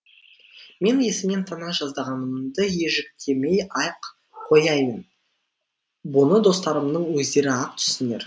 мен есімнен тана жаздағанымды ежіктемей ақ қояйын бұны достарымның өздері ақ түсінер